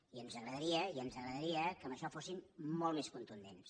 i ens agradaria i ens agradaria que en això fossin molt més contundents